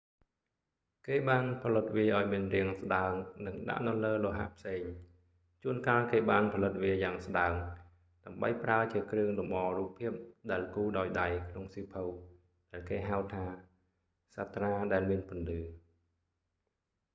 គេបានផលិតវាឱ្យមានរាងស្តើង និងដាក់នៅលើលោហៈផ្សេង។ ជួនកាលគេបានផលិតវាយ៉ាងស្តើង ដើម្បីប្រើជា​គ្រឿង​លំអ​រូប​ភាព​ដែល​គូរ​ដោយ​ដៃ​ក្នុងសៀវភៅ ដែលគេហៅថា «សាត្រា​ដែល​មាន​ពន្លឺ»។